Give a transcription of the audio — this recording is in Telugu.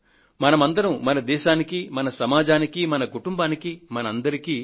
మనం అందరమూ మన దేశానికీ మన సమాజానికీ మన కుటుంబానికీ మన అందరికీ